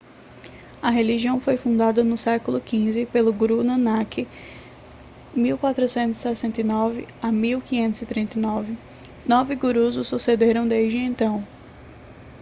a religião foi fundada no séc. xv pelo guru nanak 1469-1539. nove gurus o sucederam desde então